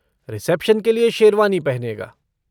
Reception के लिए शेरवानी पहनेगा।